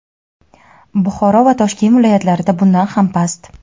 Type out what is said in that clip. Buxoro va Toshkent viloyatlarida bundan ham past.